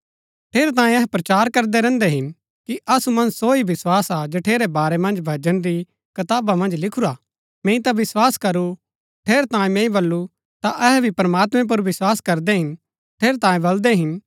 ठेरैतांये अहै प्रचार करदै रैहन्दै हिन कि असु मन्ज सो ही विस्वास हा जठेरै बारै मन्ज भजन री कताबा मन्ज लिखुरा हा मैंई ता विस्वास करू ठेरैतांये मैंई बल्लू ता अहै भी प्रमात्मैं पुर विस्वास करदै हिन ठेरैतांये बलदै हिन